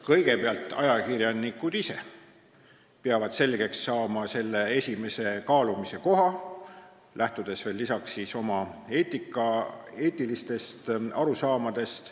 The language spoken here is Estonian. Kõigepealt peavad ajakirjanikud ise selle esimese kaalumise koha selgeks saama, lähtudes lisaks oma eetilistest arusaamadest.